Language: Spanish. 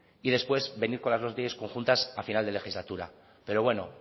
y después venir con las dos leyes conjuntas a final de legislatura pero bueno